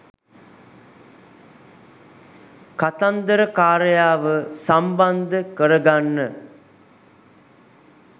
කතන්දරකාරයාව සම්බන්ධ කරගන්න